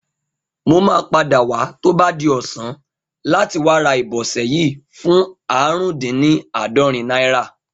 Mo máa padà wá tó bá di ọ̀sán láti wá ra ìbọsẹ̀ yìí fún ààrùndínní àádọ́rin náírà